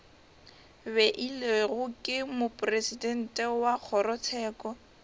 beilwego ke mopresidente wa kgorotsheko